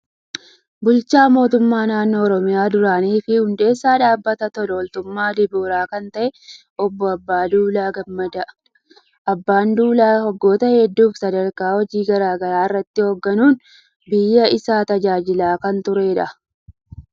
Bulchaa mootummaa naannoo Oromiyaa duraanii fi hundeessaa dhaabbata tola ooltummaa dibooraa kan ta'e Obbo Abbaa Duulaa Gammadaa. Abbaan Duulaa waggoota hedduuf sadarkaa hojii garaa garaa irratti hoogganuun biyya isaa tajaajilaa kan turedha.